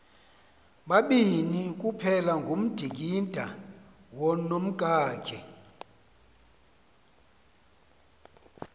babini kuphelangudingindawo nomkakhe